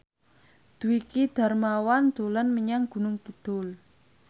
Dwiki Darmawan dolan menyang Gunung Kidul